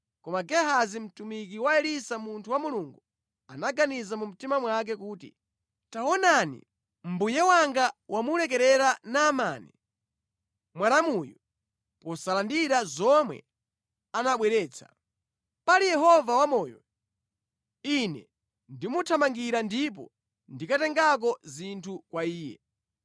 Koma Gehazi, mtumiki wa Elisa munthu wa Mulungu, anaganiza mu mtima mwake kuti, “Taonani, mbuye wanga wamulekerera Naamani Mwaramuyu, posalandira zomwe anabweretsa. Pali Yehova wamoyo, ine ndimuthamangira ndipo ndikatengako zinthu kwa iye.”